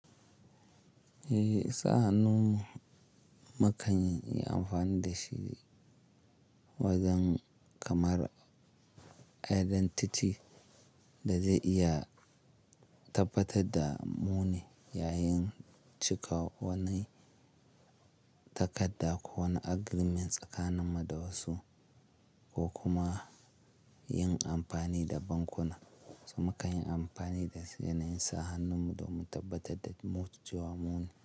Eh sa hannun mu makan yi amfani da shi wajen kamar identity da zai iya tabbatar da mu ne yayin cika wani takadda ko wani agreement tsakanin mu da wasu ko kuma yin amfani da bankuna. So mu kan yi amfani da shi yana yin sa hannun mu don mu tabbatar da mut cewa mu ne.